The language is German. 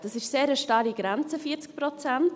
Das ist eine sehr starre Grenze, 40 Prozent.